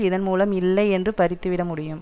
இதன்மூலம் இல்லை என்று பறித்துவிடமுடியும்